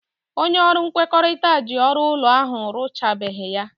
Onye ọrụ nkwekọrịta ji ọrụ ụlọ ahụ arụchabeghị ya.